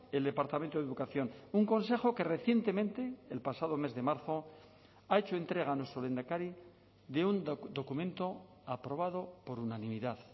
el departamento de educación un consejo que recientemente el pasado mes de marzo ha hecho entrega a nuestro lehendakari de un documento aprobado por unanimidad